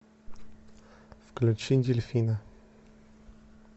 включи дельфина